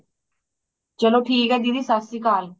ਚਲੋ ਠੀਕ ਏ ਦੀਦੀ ਸਤਿ ਸ਼੍ਰੀਅਕਾਲ